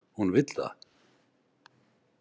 Hún vill það.